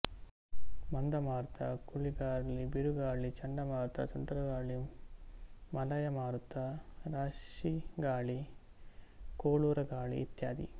ಮಂದಮಾರುತ ಕುಳಿರ್ಗಾಳಿ ಬಿರುಗಾಳಿ ಚಂಡ ಮಾರುತ ಸುಂಟರಗಾಳಿ ಮಲಯ ಮಾರುತ ರಾಶಿಗಾಳಿ ಕೋಳೂರಗಾಳಿ ಇತ್ಯಾದಿ